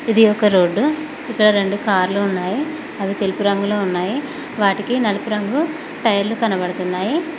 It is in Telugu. ఇది ఒక రోడ్డు ఇక్కడ రెండు కార్లు ఉన్నాయి అవి తెలుపు రంగులో ఉన్నాయి వాటికి నలుపు రంగు టైర్లు కనబడుతున్నాయి.